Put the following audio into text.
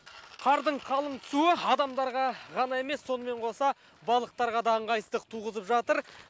қардың қалың түсуі адамдарға ғана емес сонымен қоса балықтарға да ыңғайсыздық туғызып жатыр